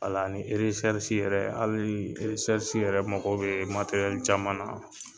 a ni yɛrɛ hali yɛrɛ mago bɛ caman na.